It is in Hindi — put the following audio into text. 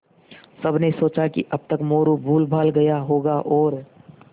सबने सोचा कि अब तक मोरू भूलभाल गया होगा और